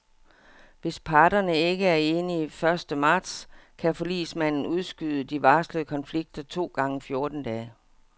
Hvis parterne ikke er enige første marts, kan forligsmanden udskyde de varslede konflikter to gange fjorten dage.